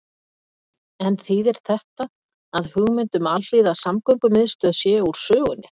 En þýðir þetta að hugmynd um alhliða samgöngumiðstöð sé úr sögunni?